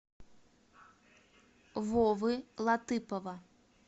вовы латыпова